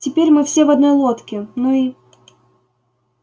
теперь мы все в одной лодке ну и